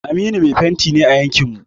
Aminu mai fenti ne a yankin mu.